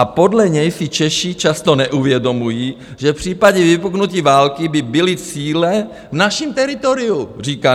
A podle něj si Češi často neuvědomují, že v případě vypuknutí války by byly cíle v našem teritoriu, říká.